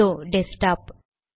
இதோ desk top